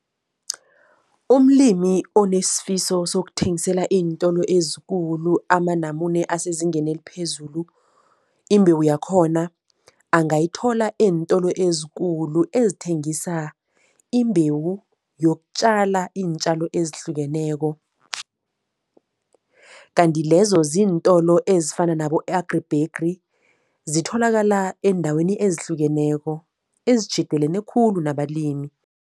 Umlimi onesifiso sokuthengisela iintolo ezikulu amanamune asezingeni eliphezulu, imbewu yakhona angayithola eentolo ezikulu ezithengisa imbewu yokutjala iintjalo ezihlukeneko. Kanti lezo ziintolo ezifana nabo-AgriBegri, zitholakala eendaweni ezihlukeneko, ezitjhidelene khulu nabalimi.